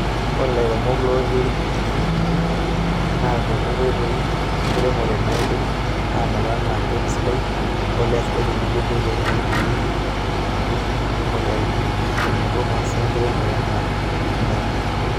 Ore lairemok lootii irkijijini naa eikuti nkoitoi enkiremore naaidim aanoto anna empeku sidai, embolea sidai tenebo nkoitoi naiboorieki ilkurt omoyiaritin tenebo masaa enkiremore anaa iltingai.